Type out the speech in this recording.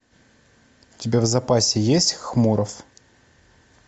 у тебя в запасе есть хмуров